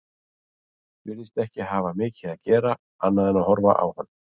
Ég er alveg að verða ómöguleg manneskja að geta ekki átt neitt við skúlptúrinn.